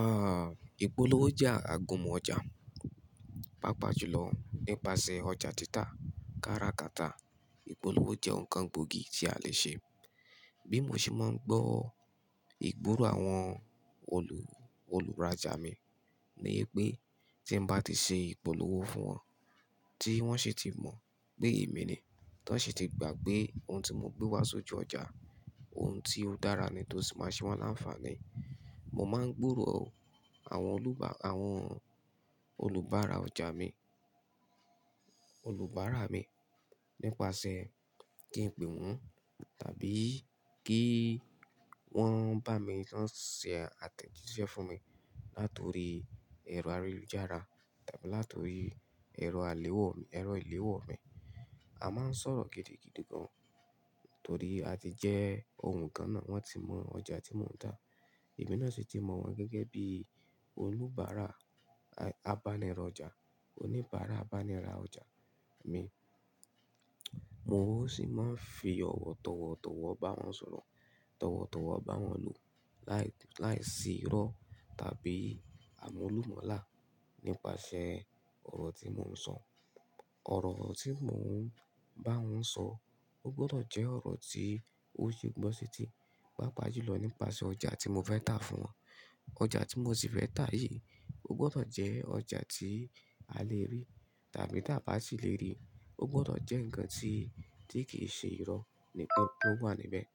Ah, ìpolówó jẹ́ àgunmu ọjà. Papajùlọ nípasẹ̀ ọjà títà, kara kata, ìpolówó jẹ́ ǹkan gbòógì tí a lè ṣe. Bí mo ṣe máa ń gbọ́ ìgboro àwọn olù, olùrajà mi ni pé tí ń bá ti ṣe ìpolówó fún wọn, tí wọ́n sì ti mọ̀ pé èmi ni, tí wọ́n sì ti gbà pé ohun tí mo gbé wá sí ojú ọjà, ohun tí ó dára ni tó sì máa ṣe wọ́n láńfààní. Mo máa ń gbòòrò àwọn olúba, àwọn olùbára ọjà mi, olùbára mi nípasẹ̀ kí n pè wọ́n tàbí kí wọ́n bá mi lọ ṣe àtẹ̀jíṣẹ́ fún mi nítorí ẹ̀rọ ayélujára tàbí nítorí ẹ̀rọ aléwọ̀, ẹ̀rọ ìléwọ̀ mi. A máa ń sọ̀rọ̀ gidi gidi gan, torí a ti jẹ́ ohun kan náà, wọ́n ti mọ ọjà tí mò ń tà. Èmi náà sì ti mọ̀ wọ́n gẹ́gẹ́ bí olùbára, a-a-bánirọ̀ ọjà, oníbàárà bánirà ọjà mi. Mo sì máa ń fi ọ̀wọ̀tọ̀wọ̀ tọ̀wọ̀ bá wọn sọ̀rọ̀, tọ̀wọ̀tọ̀wọ̀ bá wọn lò láì, láì sí irọ́ tàbí àmúlùmálà nípasẹ̀ ọ̀rọ̀ tí mò ń sọ. Ọ̀rọ̀ tí mò ń bá wọn sọ, ó gbọdọ̀ jẹ́ ọ̀rọ̀ tí ó se gbọ́ setí i, pàápàá jùlọ̀ nípasẹ̀ ọjà tí mo fẹ́ tà fún wọn. Ọjà tí mo sì fẹ́ tà yìí, ó gbọdọ̀ jẹ́ ọjà tí a lè rí tàbí tí a bá si lè rí, ó gbọdọ̀ jẹ́ ǹkan tí, tí kì í ṣe irọ́ ní, tó wà níbẹ̀.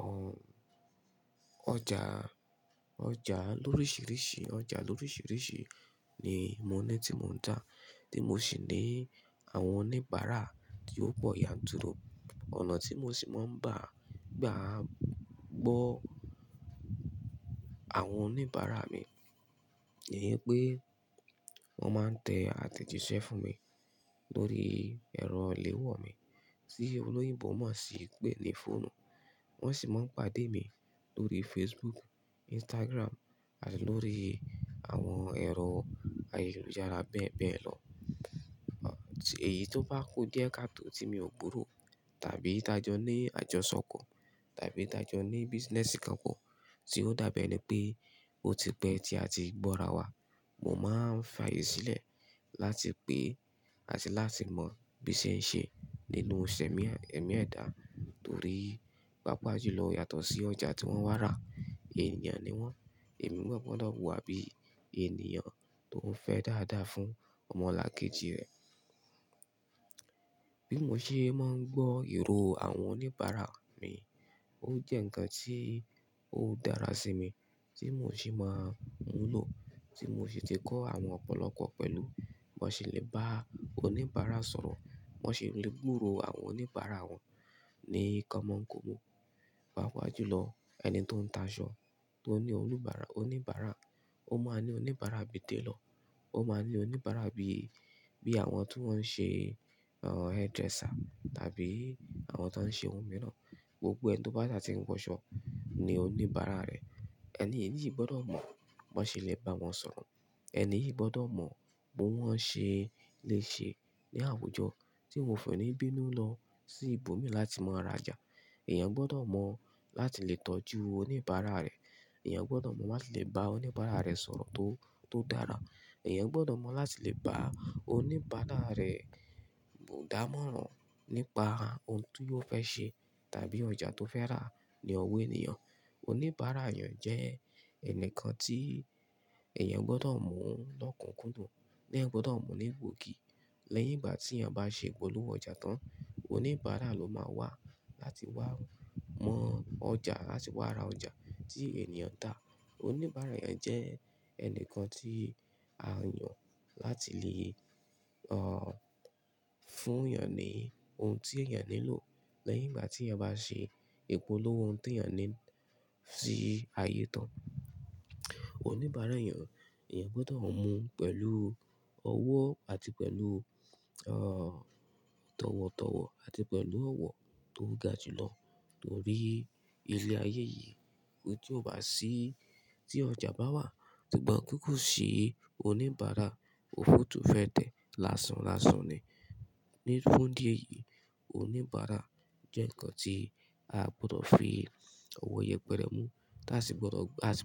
Ọ̀n-- ọjà, ọjà lóríṣìíríṣìí, ọjà lóríṣìíríṣìí ni mo ní tí mò ń tà, tí mo sì ní àwọn oníbàárà tí ó pọ̀ yanturu. Ọ̀nà tí mo sì máa ń gbá, gbá gbọ́ àwọn oníbàárà mi ni pé wọ́n máa ń tẹ àtẹ̀jíṣẹ́ fún mi lórí ẹ̀rọ ìléwọ́ mi tí olóyìnbó má sì pè ní fóònù. Wọn sì máa ń pàdé mi lórí Facebook, Instagram àti lórí àwọn ẹ̀rọ ayélujára bẹ́ẹ̀ bẹ́ẹ̀ lọ. Èyí tó bá kú díẹ̀ káàto tí mi ò gburò tàbí tajọ́ ní àjọṣòkò tàbí ìtajọ́ ní business kan pọ̀ tí ó dàbí ẹni pé ó ti pẹ́ tí a ti gbọ́ra wa, mo máa ń fààyè sílẹ̀ láti pé àti láti mọ bí ṣe é ṣe nínú ìṣẹ̀mí, ẹ̀mí ẹ̀dá torí, pàápàá jùlọ́ yàtọ̀ sí ọjà tí wọ́n wá rà. Ènìyàn ni wọ́n, èmi gbọdọ̀ wà bí ènìyàn tó ń fẹ́ dáadáa fún ọmọlàkejì rẹ̀. Bí mo ṣe máa ń gbọ́ ìró àwọn oníbàárà mi, ó jẹ́ ǹkan tí ó dára sí mi tí mo sì máa ń lò, tí mo sì ti kọ́ àwọn ọ̀pọ̀lọpọ̀ pẹ̀lú. Wọn sì lè bá oníbàárà sọ̀rọ̀, wọ́n sì lè gbòòrò àwọn oníbàárà wọn ní ìkanmọ́ǹkanmọ́. Papajùlọ ẹni tó ń ta aṣọ, tó ní oníbàárà, oníbàárà, ó máa ní oníbàárà bi tailor. Ó máa ní oníbàárà bí, bí àwọn tó ń ṣe, ah, hairdresser tàbí àwọn tó ń ṣe ohun mìíràn. Gbogbo ẹni tó bá sà ti ń wọ́ṣo ní oníbàárà rẹ̀. Ẹni yìí gbọdọ̀ mọ̀ bó ṣe lè bá wọn sọ̀rọ̀. Ẹni yìí gbọdọ̀ mọ̀ bi wọ́n ṣe lè ṣe ní àwùjọ tí won ò fin ni bínú lọ sí ibòmí láti mọ ra jà. Ẹ̀yàn gbọdọ̀ mọ̀ láti lè tọ́jú oníbàárà rẹ̀. Ẹ̀yàn gbọdọ̀ mọ̀ láti lè bá oníbàárà rẹ̀ sọ̀rọ̀ tó, tó dára. Ẹ̀yàn gbọdọ̀ mọ̀ láti lè bá oníbàárà rẹ̀ dámọ̀ràn nípa ohun tí ò fẹ́ ṣe tàbí ọjà tó fẹ́ rà ní ọwọ́ ènìyàn. Oníbàárà èèyàn jẹ́ ẹnìkan tí ẹ̀yàn gbọdọ̀ mú lọ́kùnkúndùn teeyan gbọdọ̀ mu ní gbòógì. Lẹ́yìn ìgbà tí èèyàn bá ṣe ìpolówó ọjà tán, oníbàárà ló máa wà láti wá mọ ọjà àti wá ra ọjà tí ènìyàn dà. Oníbàárà èèyàn jẹ́ ẹnìkan tí a yàn láti lè, ah, fún èèyàn ní ohun tí èèyàn nílò lẹ́yìn ìgbà tí èèyàn bá ṣe ìpolówó ohun tí èèyàn ní sí ayé tán. Oníbàárà èèyàn, ẹ̀yàn gbọdọ̀ mú pẹ̀lú ọwọ́ àti pẹ̀lú, ah, tọ̀wọ̀tọ̀wọ̀ àti pẹ̀lú ọ̀wọ̀ tó ga jùlọ. Nítorí ilẹ̀ ayé yìí, ohun tí ò bá sí tí ọjà bá wà, sùgbón ti ko sì oníbàárà, òfúutúfẹ́tẹ̀ lásán lásán ni. Ni fún dí èyìí, oníbàárà jẹ́ ǹkan tí a gbọdọ̀ fi ọ̀wọ̀ yẹpẹrẹ mú tá sì gbọdọ̀, tá sì.